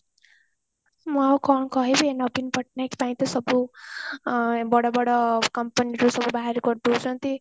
ମୁଁ ଆଉ କଣ କହିବି ନବୀନ ପଟ୍ଟନାୟକ ପାଇଁ ତ ସବୁ ଅ ବଡ ବଡ company ରୁ ସବୁ ବାହାର କରି ଦଉଛନ୍ତି